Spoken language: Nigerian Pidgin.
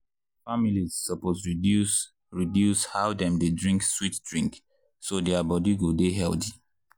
families suppose reduce reduce how dem dey drink sweet drink so their body go dey healthy.